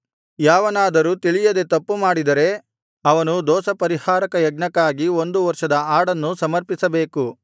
ಯಾವನಾದರೂ ತಿಳಿಯದೆ ತಪ್ಪು ಮಾಡಿದರೆ ಅವನು ದೋಷಪರಿಹಾರಕ ಯಜ್ಞಕ್ಕಾಗಿ ಒಂದು ವರ್ಷದ ಆಡನ್ನು ಸಮರ್ಪಿಸಬೇಕು